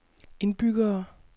indbyggere